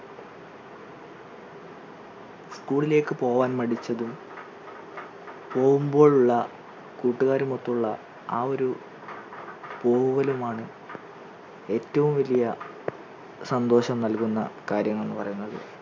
school ലേക്ക് പോവാൻ മടിച്ചതും പോകുമ്പോഴുള്ള കൂട്ടുകാരും ഒത്തുള്ള ആ ഒരു പോകലും ആണ് ഏറ്റവും വലിയ സന്തോഷം നൽകുന്ന കാര്യങ്ങൾ എന്ന് പറയുന്നത്.